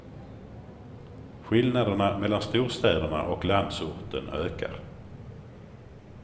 Skillnaderna mellan storstäderna och landsorten ökar.